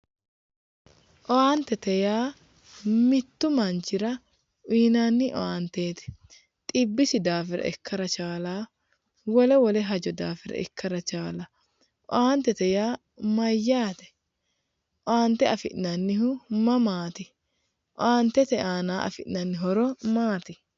Owaantete yaa mitu manchira uyinnanni ,owaanteti xibbisi daafira ikkara chaalano, wole wole hajo daafira ikkara chaalano ,owaantete yaa mayate, owaante afi'nannihu mamati, owaantete aana noori maati,